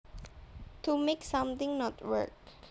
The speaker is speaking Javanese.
To make something not work